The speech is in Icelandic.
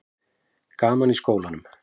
Gaman í skólanum?